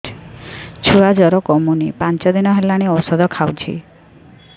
ଛୁଆ ଜର କମୁନି ପାଞ୍ଚ ଦିନ ହେଲାଣି ଔଷଧ ଖାଉଛି